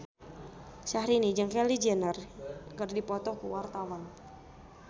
Syahrini jeung Kylie Jenner keur dipoto ku wartawan